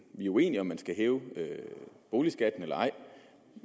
vi er uenige om hvorvidt man skal hæve boligskatten eller ej